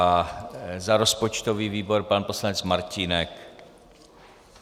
A za rozpočtový výbor pan poslanec Martínek.